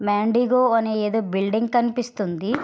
మ్యాన్డిగో అని ఏదో బిల్డింగ్ కనిపిస్తుంది.